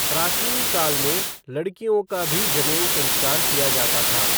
प्राचीन काल में, लड़कियों का भी जनेऊ संस्कार किया जाता था।